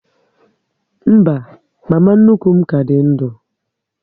Mba, mama nnukwu m ka dị ndu